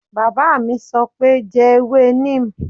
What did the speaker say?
Bàbá mi sọ pé "jẹ ewé neem"